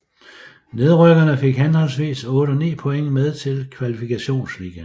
Nedrykkerne fik henholdsvis 8 og 9 point med til Kvalifikationsligaen